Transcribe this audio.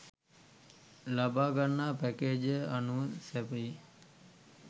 ලබාගන්නා පැකේජය අනුව සැපයේ.